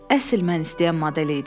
Əsl mən istəyən model idi.